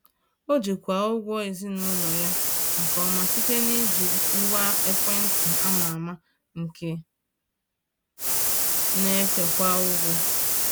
Ọ jikwaa ụgwọ ezinụlọ ya nke ọma site n’iji ngwa ekwentị ama ama nke na-ekewa ụgwọ.